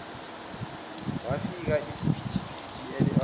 wafica usiphithiphithi elele